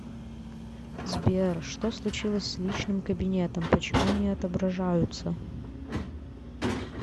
сбер что случилось с личным кабинетом почему не отображаются